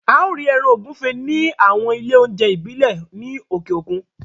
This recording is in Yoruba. A ó rí ẹran ògúnfe ní àwọn ilé oúnjẹ ìbílẹ̀ ní òkè òkun